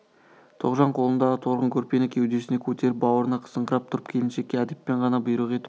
тоғжан қолындағы торғын көрпені кеудесіне көтеріп бауырына қысыңқырап тұрып келіншекке әдеппен ғана бұйрық етіп